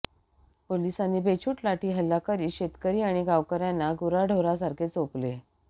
पोलिसांनी बेछुट लाठीहल्ला करीत शेतकरी आणि गावकऱयांना गुराढोरासारखे चोपले